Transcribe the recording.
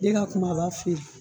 De ga kumaba feere